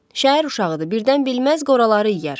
Şəhər uşağıdır, birdən bilməz qoraları yeyər.